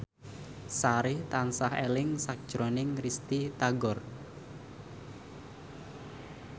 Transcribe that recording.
Sari tansah eling sakjroning Risty Tagor